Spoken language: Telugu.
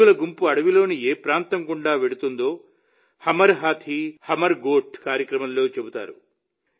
ఏనుగుల గుంపు అడవిలోని ఏ ప్రాంతం గుండా వెళుతుందో హమర్ హాథీ హమర్ గోఠ్ కార్యక్రమంలో చెప్తారు